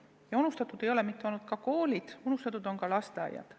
Ja unustatud ei ole olnud mitte ainult koolid, vaid unustatud on olnud ka lasteaiad.